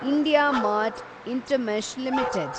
IndiaMART Intermesh limited